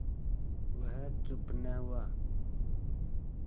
वह चुप न हुआ